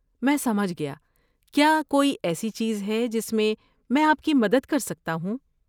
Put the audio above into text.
میں سمجھ گیا، کیا کوئی ایسی چیز ہے جس میں میں آپ کی مدد کر سکتا ہوں؟